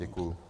Děkuji.